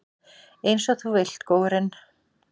Einsog þú vilt, góurinn.